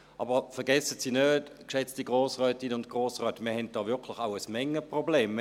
Aber vergessen Sie nicht, geschätzte Grossrätinnen und Grossräte, wir haben da wirklich auch ein Mengenproblem.